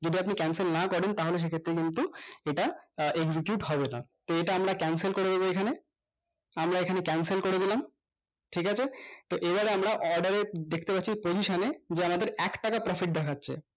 যদি আপনি cancel না করেন তাহলে সেইটা কিন্তু এটা আহ উচিত হবে না তো এইটা আমরা cancel করে দেব এইখানে আমরা এইখানে cancel করে দিলাম ঠিক আছে তো এইবার আমরা আহ order এ দেখতে পাচ্ছি posission এ যে আমাদের একটাকা profit দেখাচ্ছে